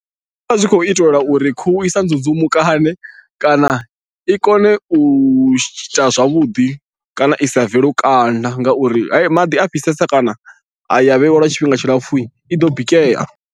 Zwi vha zwi khou itelwa uri khuhu i sa nzunzumukane kana i kone u ita zwavhuḓi kana i sa bve lukanda ngauri maḓi a fhisesa kana ya vheiwa lwa tshifhinga tshilapfhu i ḓo bikea.